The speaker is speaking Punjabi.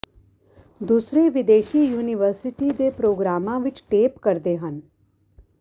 ਦੂਸਰੇ ਵਿਦੇਸ਼ੀ ਯੂਨੀਵਰਸਿਟੀ ਦੇ ਪ੍ਰੋਗਰਾਮਾਂ ਵਿੱਚ ਟੇਪ ਕਰਦੇ ਹਨ